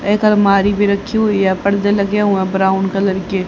एक अलमारी भी रखी हुई है पर्दे लगे हुए ब्राउन कलर के।